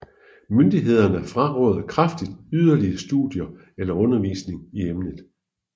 Myndighederne frarådede kraftigt yderligere studier eller undervisning i emnet